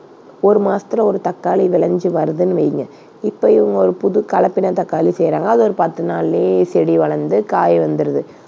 ஒரு மாசத்துல ஒரு தக்காளி விளைஞ்சு வருதுன்னு வைங்க, இப்பயும் ஒரு புது கலப்பின தக்காளி செய்றாங்க. அது ஒரு பத்து நாள்லயே செடி வளர்ந்து, காய் வந்துருது.